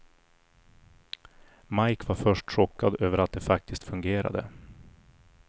Mike var först chockad över att det faktiskt fungerade.